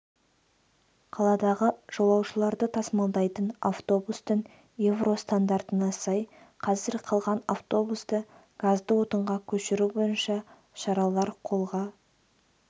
қаладағы жолаушыларды тасмалдайтын автобустың евро стандартына сай қазір қалған автобусты газды отынға көшіру бойынша шаралар қолға